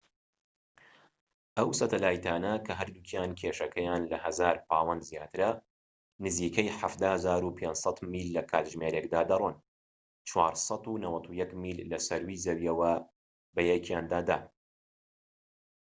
ئەو سەتەلایتانە کە هەردووکیان کێشەکەیان لە 1000 پاوەند زیاترە نزیکەی 17,500 میل لە کاتژمێرێکدا دەڕۆن 491 میل لە سەرووی زەوییەوە بەیەکیاندادا